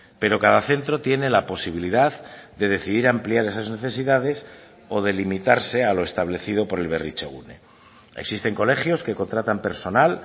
pero cada centro tiene la posibilidad de decidir ampliar esas necesidades o delimitarse a lo establecido por el berritzegune existen colegios que contratan personal